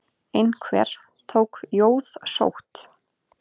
Einhver tók jóðsótt.